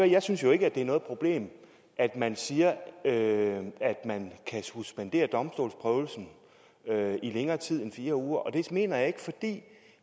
jeg synes jo ikke at det er noget problem at man siger at man kan suspendere domstolsprøvelsen i længere tid end fire uger og det mener jeg fordi